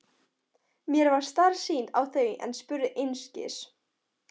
Mér varð starsýnt á þau en spurði einskis.